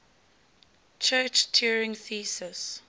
church turing thesis